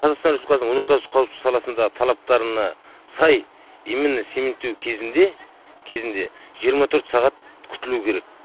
қазақстан республикасының өнеркәсіптік қауіпсіздік саласында талаптарына сай имменно цементтеу кезінде жиырма төрт сағат күтілу керек